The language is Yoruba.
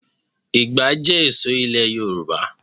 Ikàn jẹ́ ṣe èso ilẹ̀ Yorùbá